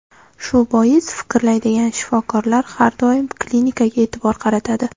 Shu bois fikrlaydigan shifokorlar har doim klinikaga e’tibor qaratadi.